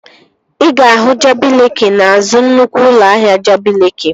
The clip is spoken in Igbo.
Ị ga-ahụ Jabi Leeki n'azụ nnukwu ụlọ ahịa Jabi Leeki